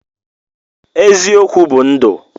Eziokwu bu ndụ